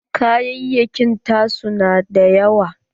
Kayayakin ta su na dayawa.